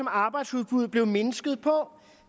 arbejdsudbuddet blev mindsket